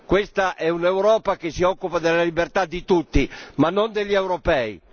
Questa è un'Europa che si occupa della libertà di tutti, ma non di quella degli europei.